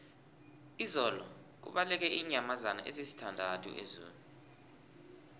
izolo kubaleke iinyamazana ezisithandathu ezoo